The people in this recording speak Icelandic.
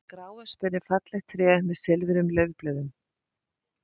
Gráöspin er fallegt tré með silfruðum laufblöðum.